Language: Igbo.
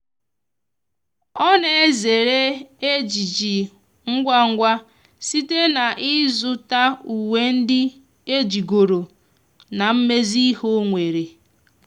ọ na ezere ejiji ngwa ngwa site na izu ta uwe ndi ejigoro na imezi ihe onwere